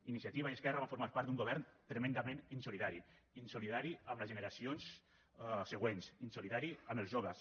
iniciativa i esquerra van formar part d’un govern tremendament insolidari insolidari amb les generacions següents insolidari amb els joves